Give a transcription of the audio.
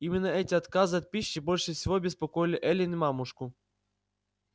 именно эти отказы от пищи больше всего беспокоили эллин и мамушку